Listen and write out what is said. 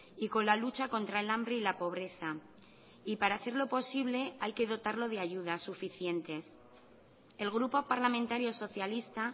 y con la lucha contra el hambre y la pobreza y para hacerlo posible hay que dotarlo de ayudas suficientes el grupo parlamentario socialista